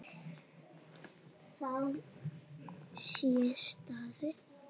Við það sé staðið.